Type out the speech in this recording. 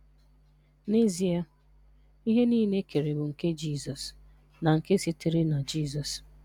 N'ezie, ihe niile ekere bụ nke Jizọs na nke sitere na Jizọs